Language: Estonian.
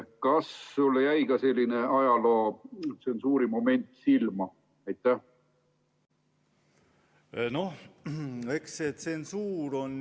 Kas sulle jäi ka selline ajalootsensuuri moment silma?